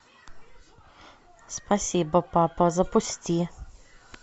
спасибо папа запусти